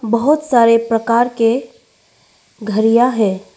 बहोत सारे प्रकार के घड़ियां है।